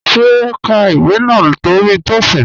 Ṣé ó n ká ìwé náà lórí Taoism?